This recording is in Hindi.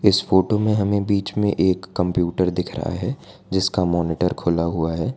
इस फोटो में हमें बीच में एक कंप्यूटर दिख रहा है जिसका मॉनिटर खुला हुआ है।